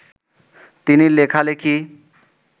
তিনি লেখালেখি